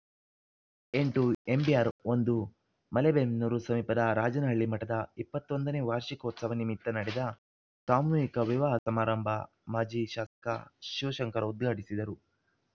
ಎಂಟು ಎಂಬಿಆರ್‌ ಒಂದು ಮಲೇಬೆನ್ನೂರು ಸಮೀಪದ ರಾಜನಹಳ್ಳಿ ಮಠದ ಇಪ್ಪತ್ತ್ ಒಂದನೇ ವಾರ್ಷಿಕೋತ್ಸವ ನಿಮಿತ್ತ ನಡೆದ ಸಾಮೂಹಿಕ ವಿವಾಹ ಸಮಾರಂಭ ಮಾಜಿ ಶಾಸಕ ಶಿವಶಂಕರ್‌ ಉದ್ಘಾಟಿಸಿದರು